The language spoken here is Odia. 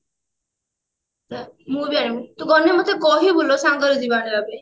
ତୁ ଗଲେ ମତେ କହିବୁଲୋ ସାଙ୍ଗରେ ଯିବା ଆଣିବା ପାଇଁ